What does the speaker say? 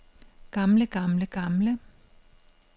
gamle gamle gamle